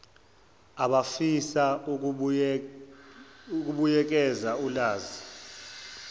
abafisa ukubuyekeza ulazi